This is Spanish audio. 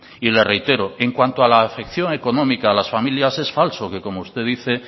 y le reitero en cuanto a la afección económica a las familias es falso que como usted dice